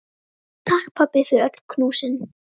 Takk, pabbi, fyrir öll knúsin.